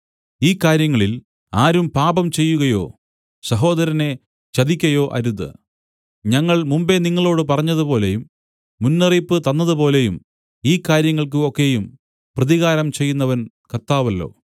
ഈ കാര്യങ്ങളിൽ ആരും പാപംചെയ്യുകയോ സഹോദരനെ ചതിക്കയോ അരുത് ഞങ്ങൾ മുമ്പെ നിങ്ങളോടു പറഞ്ഞതുപോലെയും മുന്നറിയിപ്പ് തന്നതു പോലെയും ഈ കാര്യങ്ങൾക്ക് ഒക്കെയും പ്രതികാരം ചെയ്യുന്നവൻ കർത്താവല്ലോ